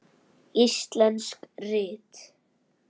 Íslensk rit